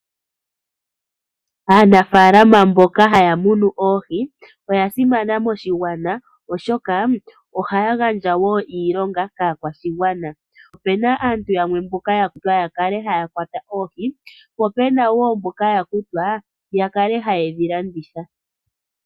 Aanafaalama mboka haya munu oohi, oya simana moshigwana oshoka ohaya gandja woo iilonga kaakwashigwana . Opena aantu yamwe mboka ya kutwa ya kale haya kwata oohi ,po pena woo mboka ya kutwa ya kale haye dhi landitha.